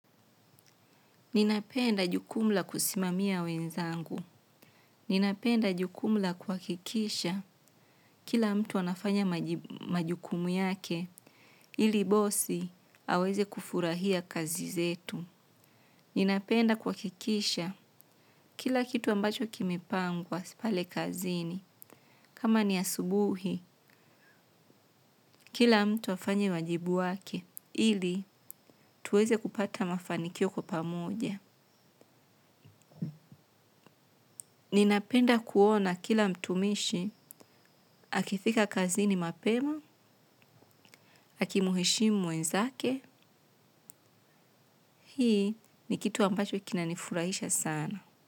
Ninapenda jukumu la kusimamia wenzangu. Ninapenda jukumla kwakikisha kila mtu anafanya majukumu yake ili bosi aweze kufurahia kazi zetu. Ninapenda kwakikisha kila kitu ambacho kimepangwa pale kazini. Kama ni asubuhi, kila mtu afanye wajibu wake ili tuweze kupata mafanikio kwa pamoja. Ninapenda kuona kila mtumishi, akithika kazini mapema, akimuheshimu mwenzake, hii ni kitu ambacho kinanifurahisha sana.